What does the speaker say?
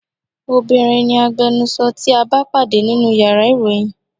Obinrin ni agbẹnusọ tí a bá pàdé nínú yàrá ìròyìn.